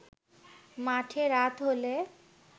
মাঠে রাত হলে